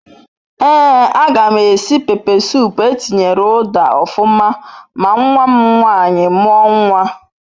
Ee a gam esi pepe sup etinyere uda ofuma ma nwam nwanyi muo nwa